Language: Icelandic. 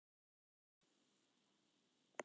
Jú, reyndar eitt.